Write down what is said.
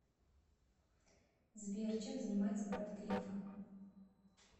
сбер чем занимается брат грефа